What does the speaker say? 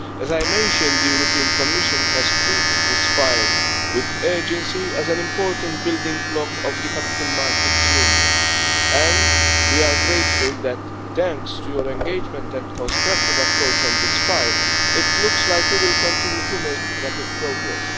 As I mentioned, the European Commission has treated this file with urgency as an important building block of the capital markets union, and we are grateful that, thanks to your engagement and constructive approach on this file, it looks like we will continue to make rapid progress.